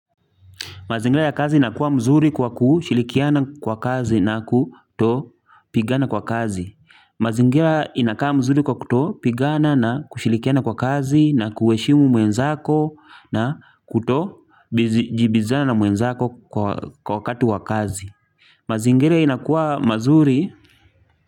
Mazingira ya kazi inakua mzuri kwa kushilikiana kwa kazi na kuto pigana kwa kazi. Mazingira inakaa mzuri kwa kuto pigana na kushilikiana kwa kazi na kueshimu mwenzako na kuto jibizana mwenzako kwa wakati wa kazi. Mazingira inakua mazuri.